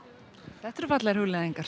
þetta eru fallegar hugleiðingar